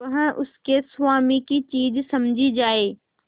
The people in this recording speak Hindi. वह उसके स्वामी की चीज समझी जाए